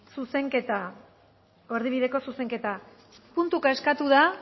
zuzenketa erdibideko zuzenketa puntuka eskatu da